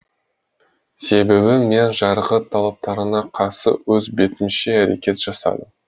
себебі мен жарғы талаптарына қарсы өз бетімше әрекет жасадым